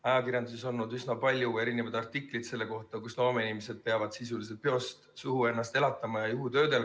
Ajakirjanduses on olnud üsna palju artikleid selle kohta, kuidas loomeinimesed peavad sisuliselt peost suhu ennast elatama ja juhutöödel käima.